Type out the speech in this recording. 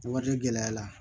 Wari gɛlɛya la